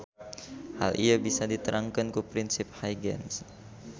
Hal ieu bisa diterangkeun ku prinsip Huygens.